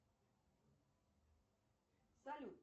салют